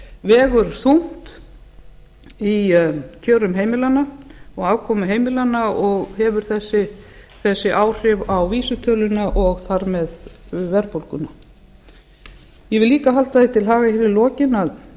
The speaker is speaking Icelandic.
vegur þungt í kjörum heimilanna og afkomu heimilanna og hefur þessi áhrif á vísitöluna og þar með verðbólguna ég vil líka halda því til haga hér í lokin að